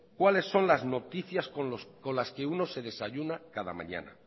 cuáles son las noticias con las que uno se desayuna cada mañana